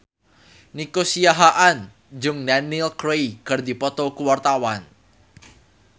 Nico Siahaan jeung Daniel Craig keur dipoto ku wartawan